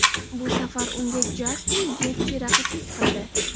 Bu safar unga Jastin Getji raqiblik qildi.